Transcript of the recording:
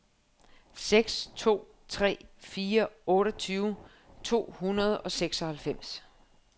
seks to tre fire otteogtyve to hundrede og seksoghalvfems